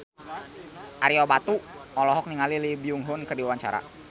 Ario Batu olohok ningali Lee Byung Hun keur diwawancara